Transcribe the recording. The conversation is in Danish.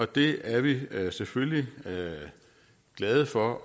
det er vi selvfølgelig glade glade for